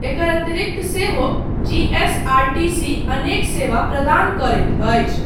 एकर अतिरिक्त सेहो जीएसआरटीसी अनेक सेवा प्रदान करैतअछि।